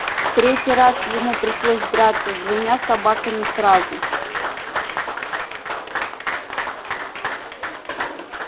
в третий раз ему пришлось драться с двумя собаками сразу